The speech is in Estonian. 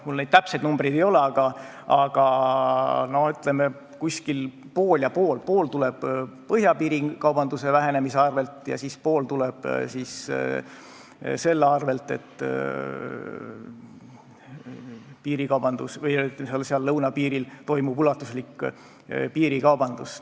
Mul täpseid numbreid ei ole, aga hinnanguliselt võib öelda, et umbes pool ja pool: pool tuleb piirikaubanduse vähenemise tõttu põhjapiiril ja pool tuleb selle tõttu, et lõunapiiril toimub ulatuslik piirikaubandus.